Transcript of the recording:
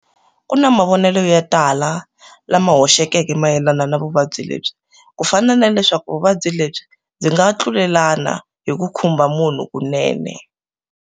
Kuna mavonelo yo tala lama hoxekeke mayelana na vuvabyi lebyi, kufana na leswaku vuvabyi lebyi byinga tlulelana hi ku khumba munhu kunene.